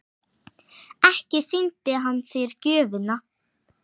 Ekki sýndi hann þér gjöfina?